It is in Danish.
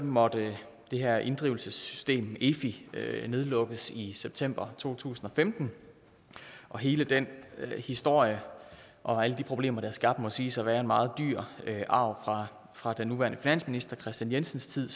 måtte det her inddrivelsessystem efi lukkes ned i september to tusind og femten og hele den historie og alle de problemer det har skabt må siges at være en meget dyr arv fra den nuværende finansminister kristian jensens tid